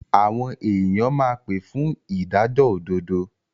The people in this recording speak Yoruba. Àwọn èyàn máa pé fún ìdájọ́ òdodo.